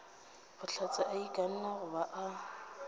bohlatse a ikanne goba a